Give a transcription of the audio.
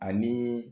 Ani